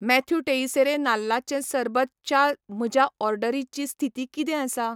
Matthew Teixeira नाल्लाचें सरबत च्या म्हज्या ऑर्डरीची स्थिती किदें आसा?